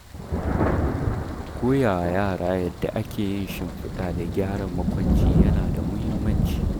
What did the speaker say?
Koyawa yara yadda ake yin shimfiɗa da gyara makwanci yana da muhimmanci.